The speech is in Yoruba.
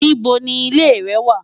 Níbo ni ilé rẹ wà?